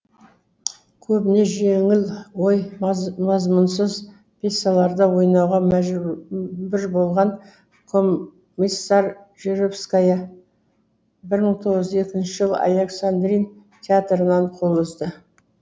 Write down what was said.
көбіне жеңіл ой мазмұнсыз пьесаларда ойнауға мәжбүр болған комиссаржевская бір мың тоғыз жүз екінші жылы александрин театрынан қол үзді